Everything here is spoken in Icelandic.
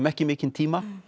ekki mikinn tíma